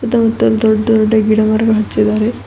ಮತ್ತ ದೊಡ್ಡ ದೊಡ್ಡ ಗಿಡ ಮರಗಳು ಹಚ್ಚಿದರೆ.